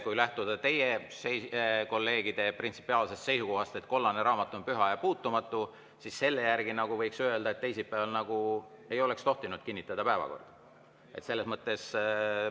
Kui lähtuda teie kolleegide printsipiaalsest seisukohast, et kollane raamat on püha ja puutumatu, siis selle järgi võiks öelda, et teisipäeval nagu ei oleks tohtinud päevakorda kinnitada.